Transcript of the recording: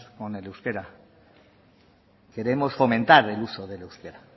con el euskera queremos fomentar el uso del euskera